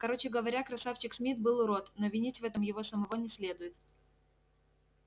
короче говоря красавчик смит был урод но винить в этом его самого не следует